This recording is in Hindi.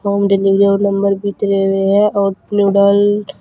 होम डिलीवरी वाला नंबर भी दिये हुए है और नूडल --